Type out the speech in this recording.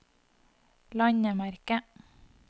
landemerke